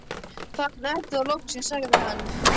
Þarna ertu þá loksins sagði hann.